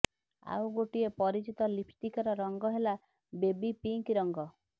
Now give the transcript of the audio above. ଆଉ ଗୋଟିଏ ପରିଚିତ ଲିପଷ୍ଟିକର ରଙ୍ଗ ହେଲା ବେବି ପିଙ୍କ ରଙ୍ଗ